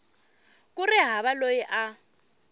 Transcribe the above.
ku ri hava loyi a